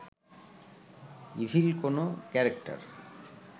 evil কোনো character